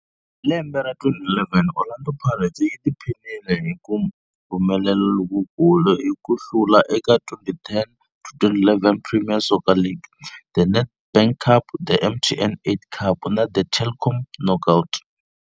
Hi lembe ra 2011, Orlando Pirates yi tiphinile hi ku humelela lokukulu hi ku hlula eka 2010-11 Premier Soccer League, The Nedbank Cup, The MTN 8 Cup na The Telkom Knockout.